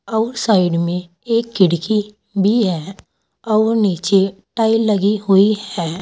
Outside में एक खिड़की भी है और नीचे टाइल लगी हुई है।